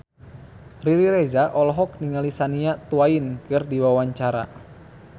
Riri Reza olohok ningali Shania Twain keur diwawancara